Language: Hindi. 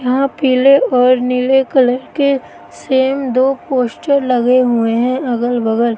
यहां पीले और नीले कलर के सेम दो पोस्टर लगे हुए हैं अगल बगल।